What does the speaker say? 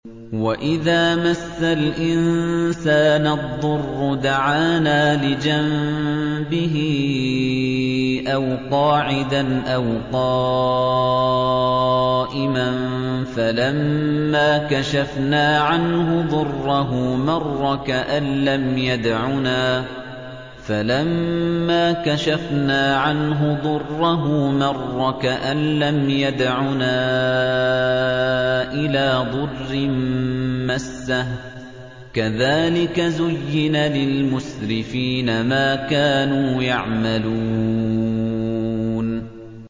وَإِذَا مَسَّ الْإِنسَانَ الضُّرُّ دَعَانَا لِجَنبِهِ أَوْ قَاعِدًا أَوْ قَائِمًا فَلَمَّا كَشَفْنَا عَنْهُ ضُرَّهُ مَرَّ كَأَن لَّمْ يَدْعُنَا إِلَىٰ ضُرٍّ مَّسَّهُ ۚ كَذَٰلِكَ زُيِّنَ لِلْمُسْرِفِينَ مَا كَانُوا يَعْمَلُونَ